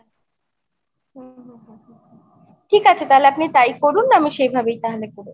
ঠিক আছে আপনি তাহলে তাই করুন আমি সেভাবে তাহলে করবো।